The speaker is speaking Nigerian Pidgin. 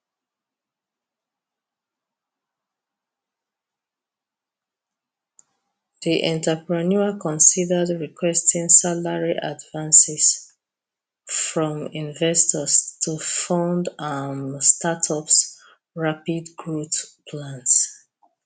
di entrepreneur considered requesting salary advances from investors to fund am startups rapid growth plans